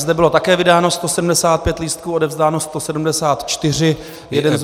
Zde bylo také vydáno 175 lístků, odevzdáno 174, jeden zůstal.